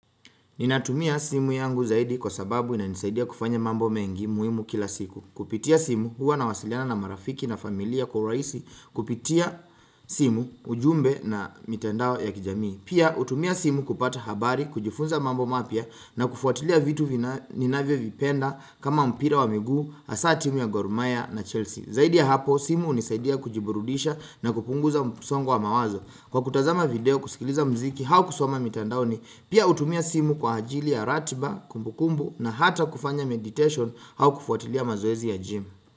Ninatumia simu yangu zaidi kwa sababu, inanisaidia kufanya mambo mengi muhimu kila siku. Kupitia simu, huwa nawasiliana na marafiki na familia kwa urahisi kupitia simu, ujumbe na mitandao ya kijamii. Pia, hutumia simu kupata habari, kujifunza mambo mapya na kufuatilia vitu ninavyovipenda kama mpira wa miguu, hasa timu ya Gor Mahia na Chelsea. Zaidi ya hapo, simu hunisaidia kujiburudisha na kupunguza msongo wa mawazo kwa kutazama video, kusikiliza muziki au kusoma mitandaoni. Pia, hutumia simu kwa ajili ya ratiba, kumbukumbu na hata kufanya meditation au kufuatilia mazoezi ya gym.